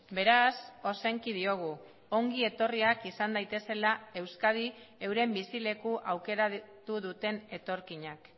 beraz ozenki diogu ongi etorriak izan daitezela euskadi euren bizileku aukeratu duten etorkinak